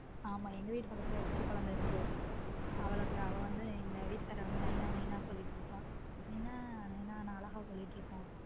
ஆமா எங்க வீட்டு பக்கத்திலேயே ஒரு குட்டி குழந்தை இருக்கு அவளுக்கு அவள வந்து எங்க வீட்டுக்காரர் வந்து நைனா நைனா சொல்லிட்டு இருப்பா நைனா நைனா அழகா சொல்லிக்கிட்டு இருக்கும்.